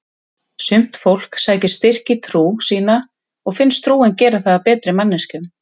Sumt fólk sækir styrk í trú sína og finnst trúin gera það að betri manneskjum.